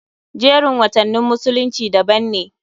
Jerin watannin musulunci daban ne.